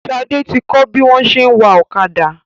Shade tí kò bí wón ṣe wá Ọ̀kadà.